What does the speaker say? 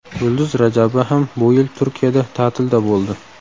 Yulduz Rajabova ham bu yil Turkiyada ta’tilda bo‘ldi.